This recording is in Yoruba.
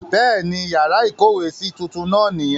Bẹ́ẹ̀ ni, yàrá ìkówèésí tuntun náà nìyẹn.